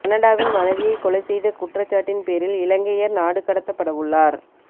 கனடாவில் மனைவியை கொலை செய்த குற்றச்சாட்டின் பேரில் இலங்கையர் நாடு கடத்தப்படவுள்ளார்